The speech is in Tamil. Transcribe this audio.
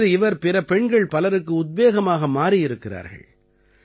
இன்று இவர் பிற பெண்கள் பலருக்கு உத்வேகமாக மாறியிருக்கிறார்கள்